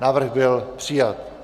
Návrh byl přijat.